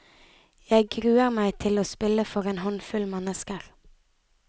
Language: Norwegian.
Jeg gruer meg til å spille for en håndfull mennesker.